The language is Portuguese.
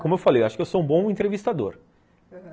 Como eu falei, acho que eu sou um bom entrevistador, aham